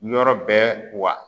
Yɔrɔ bɛɛ wa.